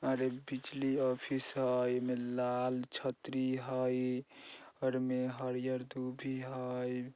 आर एक बिजली ऑफिस है एमें लाल छतरी हई| बगल में हरिहर दूबी है।